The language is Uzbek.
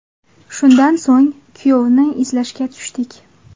Shundan so‘ng kuyovni izlashga tushdik.